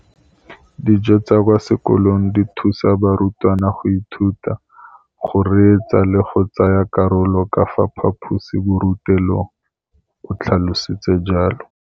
Dijo tsa kwa sekolong dithusa barutwana go ithuta, go reetsa le go tsaya karolo ka fa phaposiborutelong, o tlhalositse jalo.